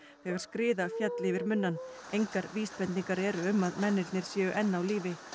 þegar skriða féll yfir munnann engar vísbendingar eru um að mennirnir séu enn á lífi